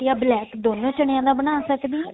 ਜਾਂ black ਦੋਨਾ ਚਨਿਆ ਦਾ ਬਣਾ ਸਕਦੇ ਹਾਂ